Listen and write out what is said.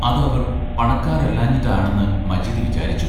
അത് അവർ പണക്കാരല്ലാഞ്ഞിട്ടാണെന്ന് മജീദ് വിചാരിച്ചു.